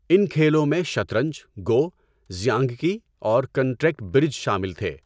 ان کھیلوں میں شطرنج، گو، ژیانگکی اور کنٹریکٹ برج شامل تھے۔